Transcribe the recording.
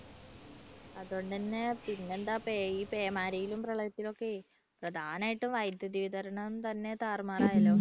അതുകൊണ്ടുതന്നെ പിന്നെന്താ ഈ പേമാരിയിലും പ്രളയത്തിലും ഒക്കെയെ പ്രധാനമായിട്ടും വൈദ്യുതി വിതരണം തന്നെ താറുമാറായല്ലോ.